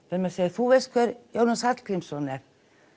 þú veist hver Jónas Hallgrímsson er